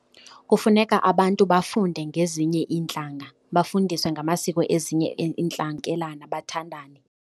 Kufuneka abantu bafunde ngezinye iintlanga, bafundiswe ngamasiko ezinye iintlanga bathandane.